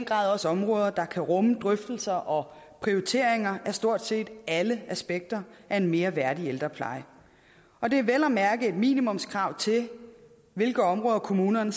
grad også områder der kan rumme drøftelser og prioriteringer af stort set alle aspekter af en mere værdig ældrepleje og det er vel at mærke et minimumskrav til hvilke områder kommunerne